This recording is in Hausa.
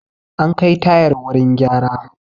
An kai tayar wurin gyara